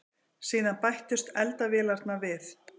Síðan bættust eldavélarnar við.